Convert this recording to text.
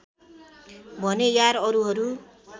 भनेँ यार अरूहरू